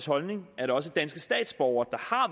holdning at også danske statsborgere